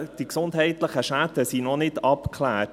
Die gesundheitlichen Schäden sind noch nicht abgeklärt.